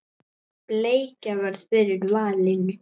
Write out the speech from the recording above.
Bleikja varð fyrir valinu.